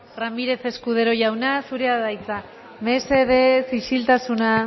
ramírez escudero jauna zurea da hitza mesedez isiltasuna